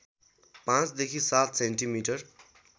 ५ देखि ७ सेन्टिमिटर